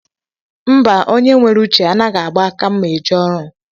Mba, onye nwere uche anaghị agba aka mma eje ọrụ